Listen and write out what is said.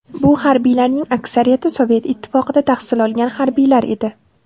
Bu harbiylarning aksariyati Sovet Ittifoqida tahsil olgan harbiylar edi.